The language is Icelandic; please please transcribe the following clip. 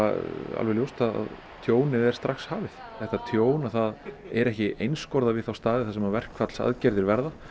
alveg ljóst að tjónið er strax hafið þetta tjón það er ekki einskorðað við þá staði þar sem verkfallsaðgerðir verða